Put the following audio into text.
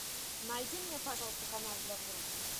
найди мне пожалуйста канал для взрослых